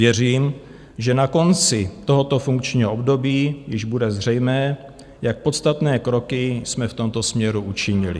Věřím, že na konci tohoto funkčního období již bude zřejmé, jak podstatné kroky jsme v tomto směru učinili.